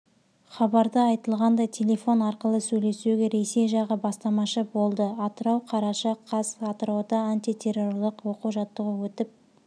хабарда айтылғандай телефон арқылы сөйлесуге ресей жағы бастамашы болды атырау қараша қаз атырауда антитеррорлық оқу-жаттығу өтіп